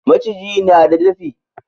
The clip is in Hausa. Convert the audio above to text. Maciji na da dafi.